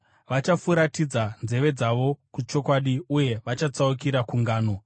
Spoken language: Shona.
Vachafuratidza nzeve dzavo kuchokwadi uye vachatsaukira kungano.